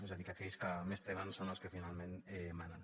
és a dir que aquells que més tenen són els que finalment manen